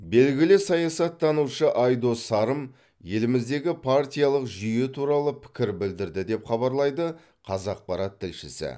белгілі саясаттанушы айдос сарым еліміздегі партиялық жүйе туралы пікір білдірді деп хабарлайды қазақпарат тілшісі